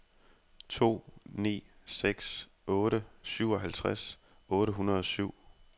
to ni seks otte syvoghalvtreds otte hundrede og syv